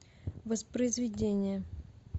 воспроизведение